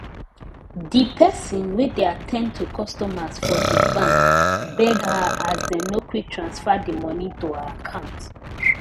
di peson wey dey at ten d to customer for di bank beg her as dem no quick transfer di moni to her account